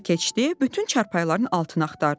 Evə keçdi, bütün çarpayıların altını axtardı.